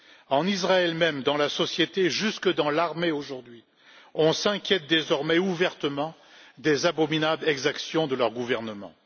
Même en Israël, dans la société et jusque dans l'armée, aujourd'hui, on s'inquiète désormais ouvertement des abominables exactions du gouvernement.